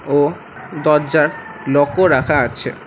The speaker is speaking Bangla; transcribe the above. ও দরজার লকও রাখা আছে।